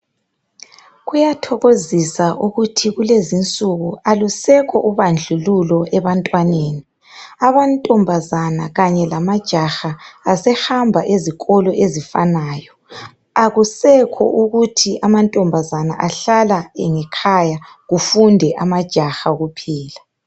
Kuyathokozisa ukuthi kulezinsuku alusekho ubandlululo ebantwaneni. Amantombazana kanje lamajaha asehamba ezikolo ezifanayo, akusekho ukuthi amantombazana ahlala ngekhaya kufunde amajaha kuphela